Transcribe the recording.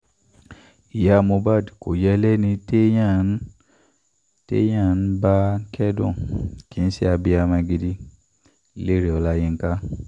iya mohbad ko yẹ lẹni teyan n teyan n ba kẹdun, kii se abiyamọ gidi- Lere Ọlayinka